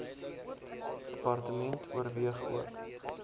department oorweeg ook